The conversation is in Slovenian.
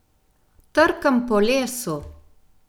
Trkam po lesu!